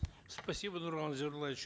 спасибо нурлан зайроллаевич